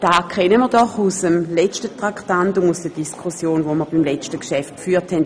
Das kennen wir doch aus der Diskussion, die wir beim hiervor behandelten Geschäft geführt haben.